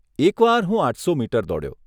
એક વાર હું આઠસો મીટર દોડ્યો.